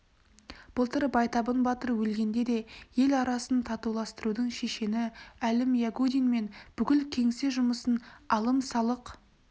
былтыр байтабын батыр өлгенде де ел арасын татуластырудың шешені әлім ягудин мен бүкіл кеңсе жұмысын алым-салық